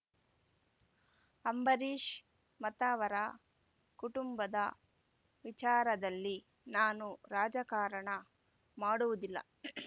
ಅಂಬರೀಷ್‌ ಮತ್ತವರ ಕುಟುಂಬದ ವಿಚಾರದಲ್ಲಿ ನಾನು ರಾಜಕಾರಣ ಮಾಡುವುದಿಲ್ಲ